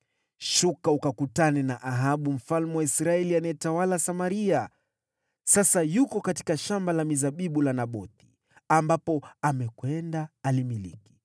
“Shuka ukakutane na Ahabu mfalme wa Israeli, anayetawala Samaria. Sasa yuko katika shamba la mizabibu la Nabothi, ambapo amekwenda alimiliki.